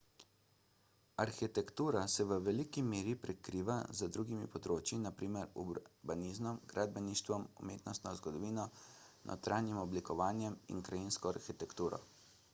arhitektura se v veliki meri prekriva z drugimi področji na primer urbanizmom gradbeništvom umetnostno zgodovino notranjim oblikovanjem in krajinsko arhitekturo